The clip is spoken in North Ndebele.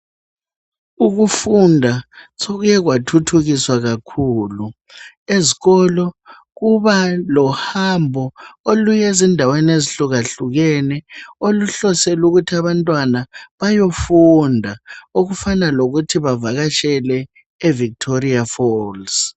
Ukufunda sokuye kwathuthukiswa kakhulu. Ezikolo kuba lohambo oluye zindaweni ezihlukahlukene. Oluhlosele ukuthi abantwana bayofunda, okufana lokuthi bavakatshele eVictoria falls.